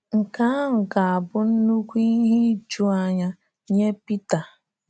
Nke ahụ ga-abụ nnukwu ihe ijuanya nye Pita!